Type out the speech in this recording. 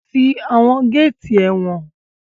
Ti àwọn géétì ẹ̀wọ̀n!